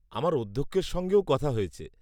আমার অধ্যক্ষের সঙ্গেও কথা হয়েছে।